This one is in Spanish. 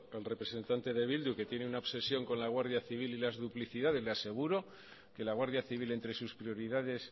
al representante de bildu que tiene una obsesión con la guardia civil y las duplicidades le aseguro que la guardia civil entre sus prioridades